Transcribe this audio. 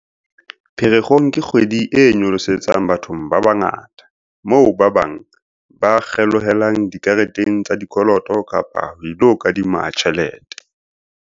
"Pherekgong ke kgwedi e nyolosetsang bathong ba bangata, moo ba bang ba kgelohelang dikareteng tsa dikoloto kapa ba ilo kadima tjhelete."